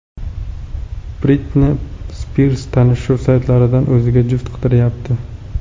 Britni Spirs tanishuv saytlaridan o‘ziga juft qidiryapti.